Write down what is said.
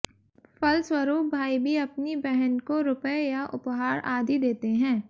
फलस्वरूप भाई भी अपनी बहन को रुपए या उपहार आदि देते हैं